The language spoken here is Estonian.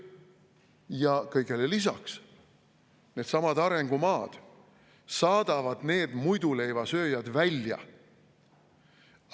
Ja kõigele lisaks needsamad arengumaad saadavad need muiduleivasööjad välja.